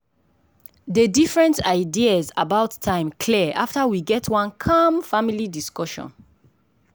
dey different ideas about time clear after we get one calm family discussion.